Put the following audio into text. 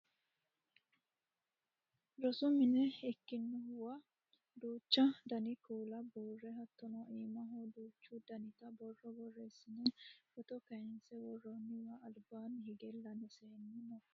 rosu mine ikkinohuwa duuchu dani kuula buurre hattono iimaho duuchu danita borro borreessine footo kayiinse worroonniwa albanni hige laame seennu no